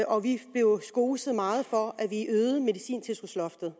og vi blev skoset meget for at vi øgede medicintilskudsloftet